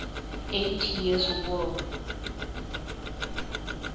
eighty years war